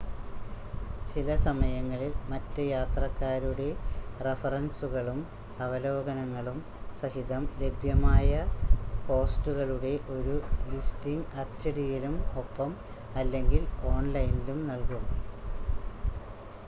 ചിലസമയങ്ങളിൽ മറ്റ് യാത്രക്കാരുടെ റഫറൻസുകളും അവലോകനങ്ങളും സഹിതം ലഭ്യമായ ഹോസ്റ്റുകളുടെ ഒരു ലിസ്റ്റിംഗ് അച്ചടിയിലും ഒപ്പം/അല്ലെങ്കിൽ ഓൺ‌ലൈനിലും നൽകും